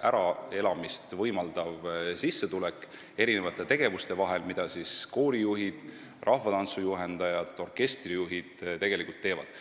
äraelamist võimaldav sissetulek mitme tegevuse vahel ning mida koorijuhid, rahvatantsujuhendajad ja orkestrijuhid tegelikult teevad.